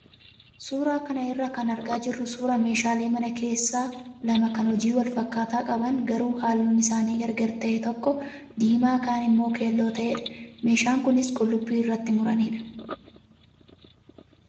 Suuraa kana irraa kan argaa jirru suuraa meeshalee mana keessaa lama kan hojii wal fakkaataa qaban garuu halluun isaanii gargar ta'e tokko diimaa kaan immoo keelloo ta'edha. Meeshaan kunis qullubbii irratti muranidha.